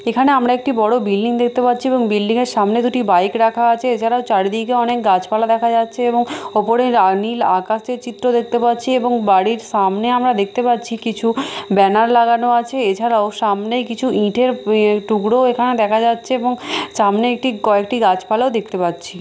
এখানে আমরা একটি বড় বিল্ডিং দেখতে পাচ্ছি এবং বিল্ডিং -এর সামনে দুটি বাইক রাখা আছে এছাড়াও চারিদিকে অনেক গাছপালা দেখা যাচ্ছে এবং উপরে নীল আকাশের চিত্র দেখতে পাচ্ছি এবং বাড়ির সামনে আমরা দেখতে পাচ্ছি কিছু ব্যানার লাগানো আছে এছাড়াও সামনে কিছু ইঁটের পি টুকরো এখানে দেখা যাচ্ছে এবং সামনে একটি কয়েকটি গাছপালাও দেখতে পাচ্ছি।